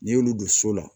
N'i y'olu don so la